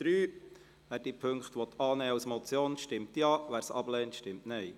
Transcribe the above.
Wer diese Punkte als Motion annehmen will, stimmt Ja, wer dies ablehnt, stimmt Nein.